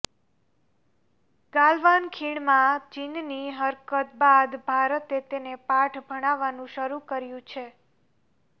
ગાલવાન ખીણમાં ચીનની હરકત બાદ ભારતે તેને પાઠ ભણાવવાનું શરૂ કર્યું છે